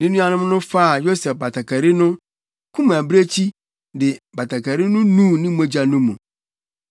Na anuanom no faa Yosef batakari no, kum abirekyi, de batakari no nuu ne mogya no mu.